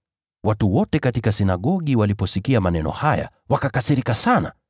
Watu wote katika sinagogi waliposikia maneno haya, wakakasirika sana.